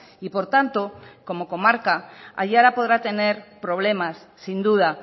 y por tanto como comarca aiara podrá tener problemas sin duda